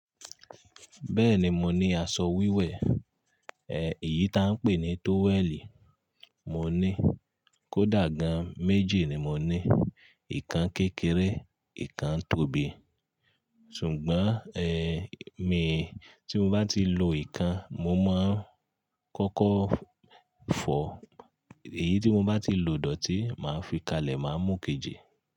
Bẹ́ẹ̀ni, mo ní asọ wíwẹ̀, eh, èyí tá ń pè ní tówẹ́ẹ̀lì mo ní. Kódà gan méjì ni mo ní, ìkan kékeré, ìkan tóbi. Sùgbọ́n, eh, mi, tí mo bá ti lo ìkan, mo máa ń kọ́kọ́ fọ, èyí tí mo bá ti lo dòtí, màá fi kalẹ̀, màá mú kejì.